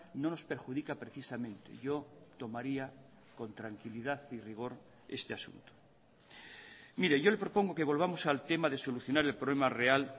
no nos perjudica precisamente yo tomaría con tranquilidad y rigor este asunto mire yo le propongo que volvamos al tema de solucionar el problema real